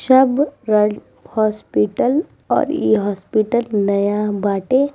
सब world hospital और इ हॉस्पिटल नया बाटे।